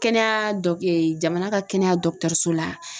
Kɛnɛya dɔ jamana ka kɛnɛya dɔgɔtɔrɔso la